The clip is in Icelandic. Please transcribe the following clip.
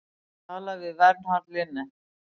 Talað við Vernharð Linnet.